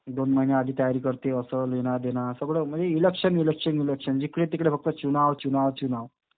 दोन महिने आधी तयारी करतोय. असं, लेना देना. सगळं म्हणजे इलेक्शन, इलेक्शन, इलेक्शन. जिकडेतिकडे फक्त चुनाव, चुनाव, चुनाव.